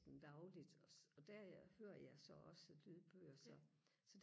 dagligt også og der hører jeg så også lydbøger så så